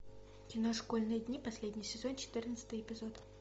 кино школьные дни последний сезон четырнадцатый эпизод